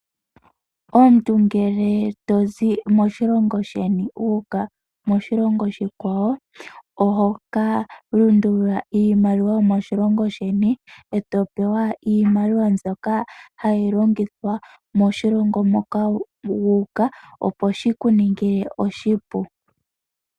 Omuntu ngele tozi moshilongo sheni wu uka moshilongo oshikwawo ohoka lundulula iimaliwa yomoshilongo sheni etopewa iimaliwa mbyoka hayi longithwa moshilongo moka wu uka opo ahikuningle oshipu.